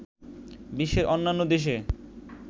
বিশ্বের অন্যান্য দেশে